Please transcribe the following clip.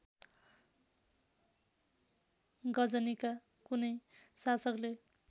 गजनीका कुनै शासकले